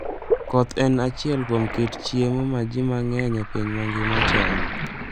Koth en achiel kuom kit chiemo ma ji mang'eny e piny mangima chamo.